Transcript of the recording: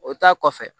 O ta kɔfɛ